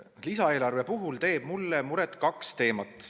Lisaeelarve puhul teevad mulle muret kaks teemat.